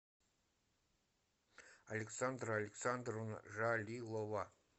александра александровна жалилова